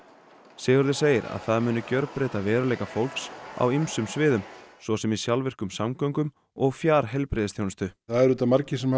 Sigurður segir að það muni gjörbreyta veruleika fólks á ýmsum sviðum svo sem í sjálfvirkum samgöngum og fjar heilbrigðisþjónustu það eru margir sem